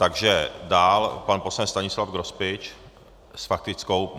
Takže dál pan poslanec Stanislav Grospič s faktickou.